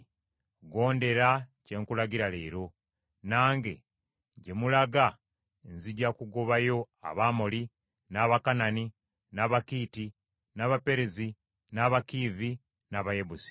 “Gondera bye nkulagira leero. Nange, gye mulaga, nzija kugobayo Abamoli, n’Abakanani, n’Abakiiti, n’Abaperezi, n’Abakiivi, n’Abayebusi.